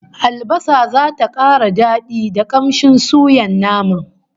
Albasa zata kara dadi da kamshin suyan naman